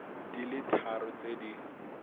di le tharo tse di